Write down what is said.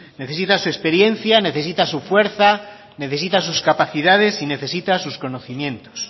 necesita su experiencia necesita su fuerza necesita sus capacidades y necesita sus conocimientos